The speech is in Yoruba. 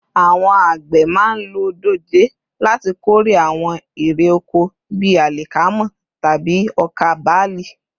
Àwọn àgbẹ̀ máa ń lo dòjé láti kórè àwọn irè oko bí àlìkámà tàbí ọkà bálì